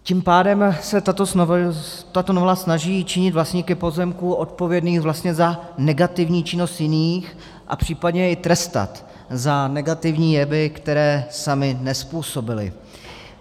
Tím pádem se tato novela snaží činit vlastníky pozemků odpovědné vlastně za negativní činnost jiných a případně i trestat za negativní jevy, které sami nezpůsobili.